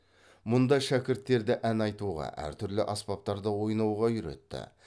мұнда шәкірттерді ән айтуға әр түрлі аспаптарда ойнауға үйретті